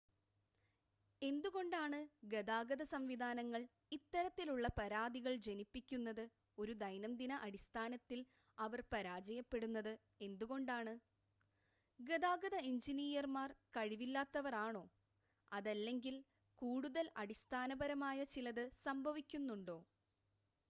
എന്തുകൊണ്ടാണ് ഗതാഗത സംവിധാനങ്ങൾ ഇത്തരത്തിലുള്ള പരാതികൾ ജനിപ്പിക്കുന്നത് ഒരു ദൈനംദിന അടിസ്ഥാനത്തിൽ അവർ പരാജയപ്പെടുന്നത് എന്തുകൊണ്ടാണ് ഗതാഗത എഞ്ചിനീയർമാർ കഴിവില്ലാത്തവർ ആണോ അതല്ലെങ്കിൽ കൂടുതൽ അടിസ്ഥാനപരമായ ചിലത് സംഭവിക്കുന്നുണ്ടോ